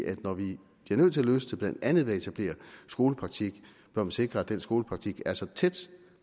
at når vi bliver nødt til at løse det blandt andet ved at etablere skolepraktik bør vi sikre at den skolepraktik er så tæt